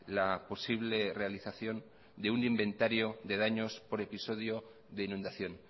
la posible realización de un inventario de daños por episodio de inundación